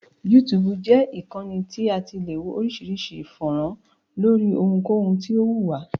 YouTube jẹ́ ìkànnì tí a ti le wo oríṣiríṣi fọ́nrán lóri ohunkohun tí o wù wá.